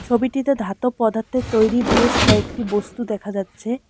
ছবিটিতে ধাতব পদার্থের তৈরি বেশ কয়েকটি বস্তু দেখা যাচ্ছে।